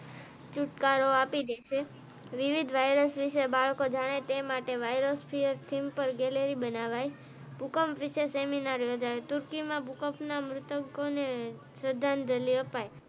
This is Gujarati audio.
છુટકારો આપી દેશે વિવિધ વાયરસ વિષે બાળકો જાણે તે માટે viruses C. S. C simple gallery બનાવવાય ભૂકંપ વિષે સેમિનાર યોજાયો તુર્કીમાં ભૂકંપ ના મૃતકો ને શ્રધાજલી અપાયી.